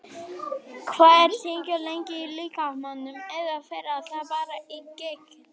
Hvað er tyggjó lengi í líkamanum eða fer það bara í gegn?